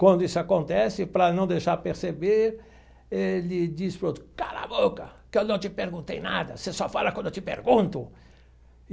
Quando isso acontece, para não deixar perceber, ele diz para o outro, cala a boca, que eu não te perguntei nada, você só fala quando eu te pergunto.